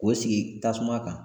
K'o sigi tasuma kan.